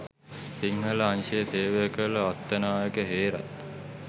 සිංහල අංශයේ සේවය කළ අත්තනායක හේරත්